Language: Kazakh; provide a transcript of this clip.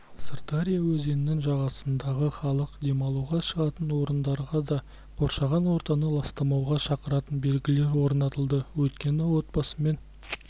сырдария өзенінің жағасындағы халық демалуға шығатын орындарға да қоршаған ортаны ластамауға шақыратын белгілер орнатылды өйткені отбасымен